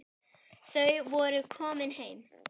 Þau voru komin heim.